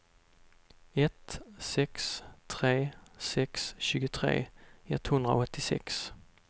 ett sex tre sex tjugotre etthundraåttiosex